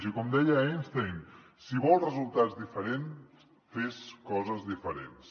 i com deia einstein si vols resultats diferents fes coses diferents